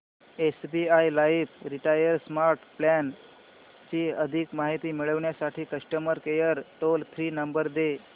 SBI life retire smart plan ची अधिक माहिती मिळविण्यासाठी customer care toll free number दे